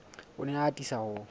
o ne a atisa ho